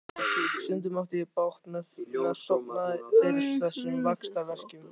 Stundum átti ég bágt með að sofna fyrir þessum vaxtarverkjum.